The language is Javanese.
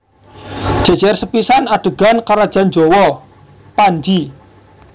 Jejer sepisan adegan kerajaan Jawa / Panji